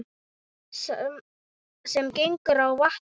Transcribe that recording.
Sá sem gengur á vatni